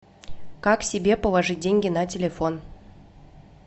как себе положить деньги на телефон